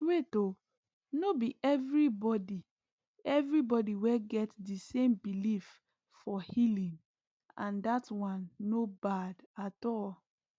wait oono be everybody everybody get di same belief for healing and dat one no bad at all